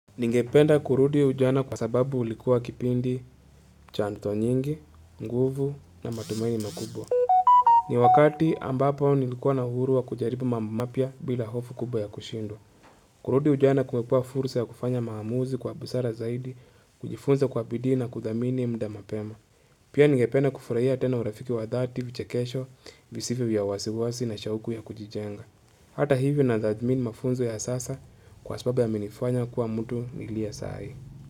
Ningependa kurudi ujana kwa sababu ulikuwa kipindi chanto nyingi, nguvu na matumaini makubwa. Ni wakati ambapo nilikuwa na uhuru wa kujalibu mambo mapya bila hofu kubwa ya kushindwa. Kurudi ujana kumekua fursa ya kufanya maamuzi kwa busara zaidi, kujifunza kwa bidii na kudhamini muda mapema. Pia ningependa kufurahia tena urafiki wa dhati, vichekesho, visivyo vya wasiwasi na shauku ya kujijenga. Hata hivyo nadhamini mafunzo ya sasa kwa sababu yamenifanya kuwa mtu niliye sahii.